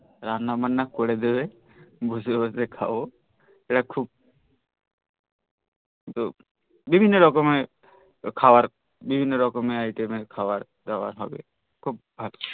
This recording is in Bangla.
রান্না বান্না করে দেবে বসে বসে খাব এটা খুব বিভিন্ন রকম খাবার বিভিন্ন রকমের আইটেম এর খাবার দাবার হবে